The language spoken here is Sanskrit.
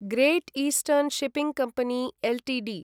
great eastern shipping company Ltd